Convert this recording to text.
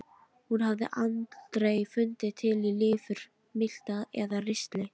Hún hafði aldrei fundið til í lifur, milta eða ristli.